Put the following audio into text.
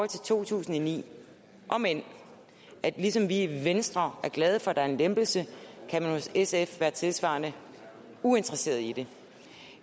til to tusind og ni om end man ligesom vi i venstre er glade for at der er en lempelse hos sf kan være tilsvarende uinteresseret i det